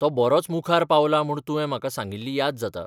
तो बरोच मुखार पावला म्हूण तुवें म्हाका सांगिल्ली याद जाता.